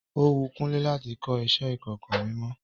Ó wun Kúnlé láti kọ iṣẹ ìkọ̀kọ̀ mímọ.